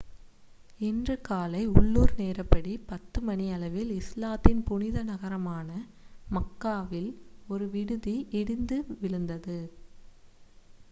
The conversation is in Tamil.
இன்று காலை உள்ளூர் நேரப்படி,10 மணியளவில் இஸ்லாத்தின் புனித நகரமான மக்காவில் ஒரு விடுதி இடிந்து விழுந்தது